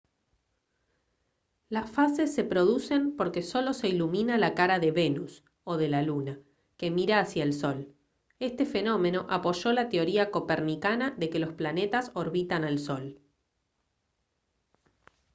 las fases se producen porque solo se ilumina la cara de venus o de la luna que mira hacia el sol. este fenómeno apoyó la teoría copernicana de que los planetas orbitan al sol